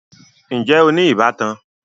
Ǹjẹ́ o ní ìbátan?